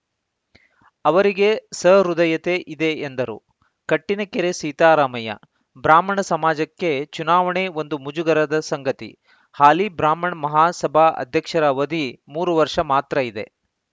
ಅವರಿಗೆ ಸಹೃದಯತೆ ಇದೆ ಎಂದರು ಕಟ್ಟಿನಕೆರೆ ಸೀತಾರಾಮಯ್ಯ ಬ್ರಾಹ್ಮಣ ಸಮಾಜಕ್ಕೆ ಚುನವಾಣೆ ಒಂದು ಮುಜುಗರದ ಸಂಗತಿ ಹಾಲಿ ಬ್ರಾಹ್ಮಣ ಮಹಾಸಭಾ ಅಧ್ಯಕ್ಷರ ಅವಧಿ ಮೂರು ವರ್ಷ ಮಾತ್ರ ಇದೆ